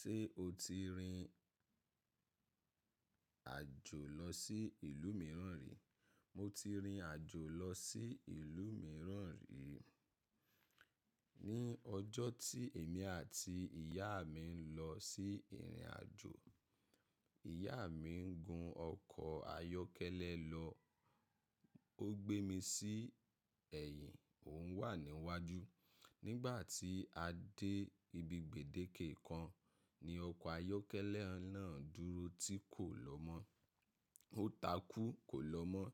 Ṣé o ti rìn àjò lọ sí ìlú mìíràn rí? Mo ti rìnrìn àjò lọ sí ìlú mìíràn rí. Ni ọjọ́ tí èmi àti ìyá mi ń lọ sí ìrìnàjò, ìyá mi ń gun ọkọ̀ ayọ́kẹ́lẹ́ lọ. Ó gbé mi sí ẹ̀yìn, òun wà níwájú. Nígbà tí a dé ibi gbèdéke kan ni ọkọ̀ ayọ́kẹ́lẹ́ náà dúró tí kò lọ mọ́. Ó takú kò lọ mọ́.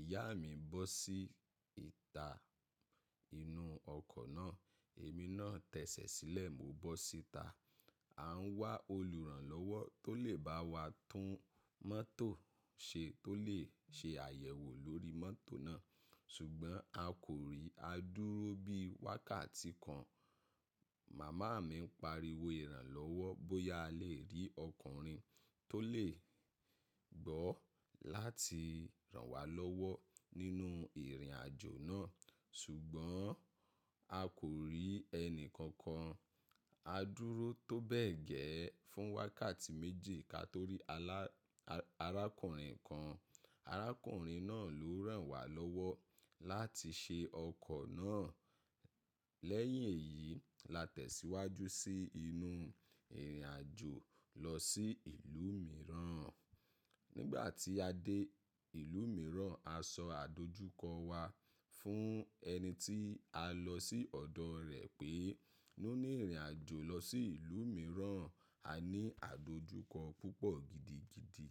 Ìyá mi bọ́ sí ìta inú ọkọ̀ náà. Èmi náà tẹsẹ̀ sílẹ̀, mo bọ́ sí ìta. A ń wá olùrànlọ́wọ́ tó lè bá wa tún mọ́tò ṣe tó lè ṣe àyẹ̀wò lórí mọ́tò náà. Ṣùgbọ́n a kò rí. A dúró bí wákàtí kan. Màmá mi ń pariwo ìrànlọ́wọ́ bóyá a lè rí ọkùnrin tó lè gbọ́ láti ràn wá lọ́wọ́ nínú ìrìnàjò náà. Ṣùgbọ́n a kò rí ẹni kankan. A dúró tó bẹ́ẹ̀ gẹ́ fún wákàtí méji ká tó rí arákùnrin kan. Arákùnrin náà ló ràn wá lọ́wọ́ láti ṣe ọkọ̀ náà. Lẹ́yìn èyí la tẹ̀síwájú sí inú ìrìnàjò lọ sí ìlú mìíràn. Nígbà tí a dé ìlú mìíràn, a sọ àdojúkọ wa fún ẹni tí a lọ sí ọ̀dọ̀ rẹ̀ pé nú ní ìrìnàjò lọ sí ìlú mìíràn. A ní àdojúkọ púpọ̀ gidigidi.